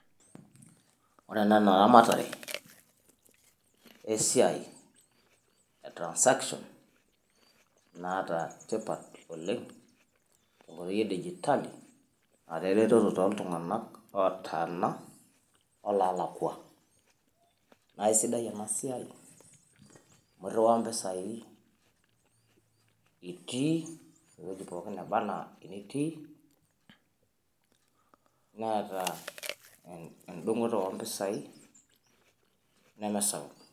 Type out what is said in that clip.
wore enaa eramatare esiai etransaction naata tipaat dupoto oleng tenkoitoi edigitali otlunganak olootaana oloolakua naa riiwa mpiisai itii ewueji pookin netaa nitii netaa endung'oto oompisai nemesapuk.